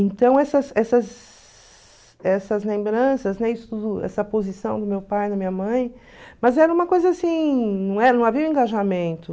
Então, essas essas essas lembranças, né, essa posição do meu pai na minha mãe, mas era uma coisa assim, não havia engajamento.